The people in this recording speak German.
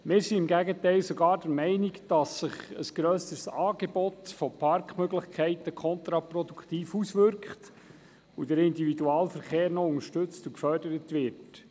Wir sind im Gegenteil sogar der Meinung, dass sich ein grösseres Angebot von Parkmöglichkeiten kontraproduktiv auswirkt und der Individualverkehr noch unterstützt und gefördert wird.